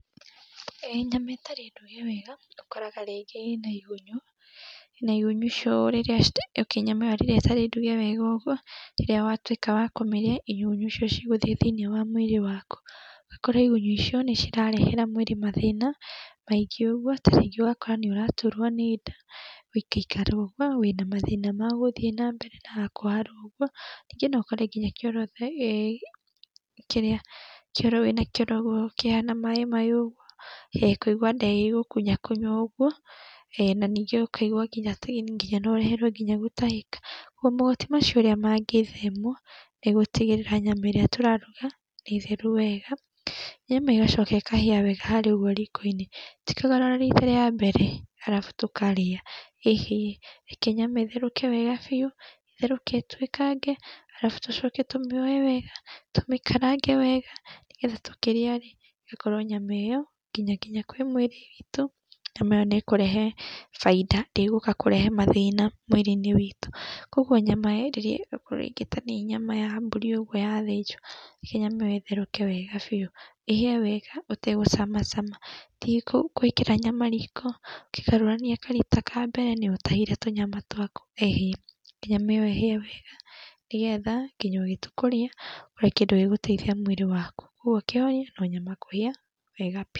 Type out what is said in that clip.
ĨĨ nyama ĩtarĩ nduge wega ũkoraga rĩngĩ ĩna igunyũ, na igunyũ icio rĩrĩa nyama ĩyo rĩrĩa ĩtarĩ nduge wega ũguo rĩrĩa watũika wa kũmĩria igunyũ icio cigũthie thĩiniĩ wa mwĩrĩ waku, ũgakora ĩgũnyũ icio nĩ cirarehera mwĩrĩ mathĩna maĩngĩ ũguo, ta rĩngĩ ũgakora nĩ ũraturwo nĩ nda, gũikaikara ũguo wĩna mathĩna magũthĩi na mbere ta kũharwo ũguo, ningĩ no ũkore ngina kioro, kĩrĩa kioro wĩnakio noguo kĩhana maĩ maĩ ũguo. Kũigua nda ĩgĩgũkunyakunya ũguo, na ningĩ ũkaigua ngina no ũreherwo nginya gũtahĩka ũguo ũguo, mogwati macio ũrĩa mangĩthemwo nĩ gũtigĩrĩra nyama ĩrĩa tũraruga nĩ theru wega, nyama ĩgacoka ĩkahĩa wega harĩa riko-inĩ, ti kũgarũra rita ria mbere, arabu tũkarĩa, ĩhĩĩ, reke nyama ĩtherũke wega biu, ĩtherũke ĩtwĩkange, arabu tũcoke tũmĩoye wega, tũmĩkarange wega, nĩgetha tũkĩrĩa rĩ ĩgakorwo nyama ĩyo ngĩnya kwĩ mwĩrĩ witũ, nyama ĩyo nĩ ĩkũrehe bainda, ndĩgũka kũrehe mathĩna mwĩrĩ-inĩ witũ, koguo nyama rĩrĩa ĩgũkorwo rĩngĩ ta nĩ nyama ya mbũrĩ ũguo yathĩnjwo, reke nyama ĩyo ĩtherũke wega biu, ĩhĩe wega ũtegũcamacama, ti gwĩkĩra nyama rĩko ũkĩgarũrania karita ka mbere nĩũtahire tũnyama twaku, ĩhĩi reke nyama ĩyo ĩhĩe wega, nĩgetha nginya ũgĩtua kũrĩa, ũrĩe kĩndũ gĩgũteithia mwĩrĩ waku, ũguo kio no nyama kũhĩa wega biu.